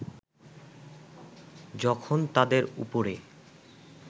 যখন তাদের উপরে